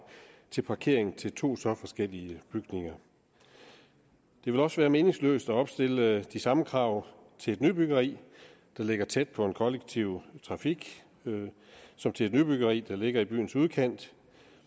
til parkering til to så forskellige byggerier det vil også være meningsløst at opstille de samme krav til et nybyggeri der ligger tæt på den kollektive trafik som til et nybyggeri der ligger i byens udkant